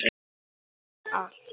Fyrir allt.